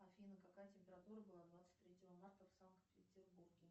афина какая температура была двадцать третьего марта в санкт петербурге